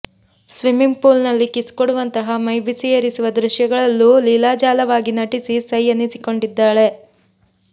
ಸಿಮ್ಮಿಂಗ್ಪೂಲ್ನಲ್ಲಿ kiss ಕೊಡುವಂತಹ ಮೈ ಬಿಸಿಯೇರಿಸುವ ದೃಶ್ಯಗಳಲ್ಲೂ ಲೀಲಾಜಾಲವಾಗಿ ನಟಿಸಿ ಸೈ ಎನಿಸಿಕೊಂಡಿದ್ದಾಳೆ